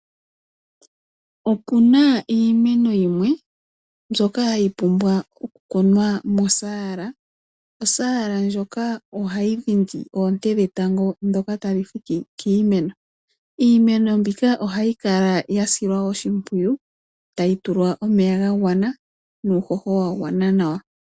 Okuna iimeno yimwe mbyoka hayi pumbwa okukunwa mosaala. Osaala ndjoka ohayi dhindi oonte dhetango ndhoka tadhi fike kiimeno. Iimeno mbika ohayi kala ya silwa oshimpwiyu tayi tulwa omeya ga gwana nuuhoho wa gwana nawa.